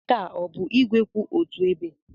Nke a ọ bụ igwe kwụ otu ebe?